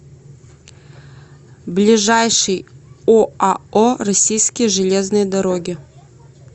ближайший оао российские железные дороги